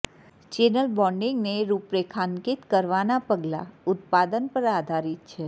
channel બોન્ડીંગને રૂપરેખાંકિત કરવાનાં પગલાં ઉત્પાદન પર આધારિત છે